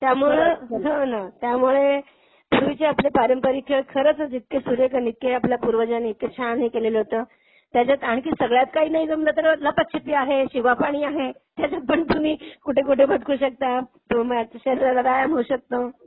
त्यामुळे पूर्वीचे आपले पारंपरिक खेळ खरचच इतके सुरेख आणि इतके आपल्या पूर्वजांनी इतक छान हे केलेलं होतं. त्याच्यात आणखी सगळ्यात काही नाही जमलं तर लपाछपी आहे, शिवापाणी आहे. त्याच्यात पण तुम्ही कुठे कुठे भटकू शकता. तुमच्या शरीराला व्यायाम होऊ शकतो.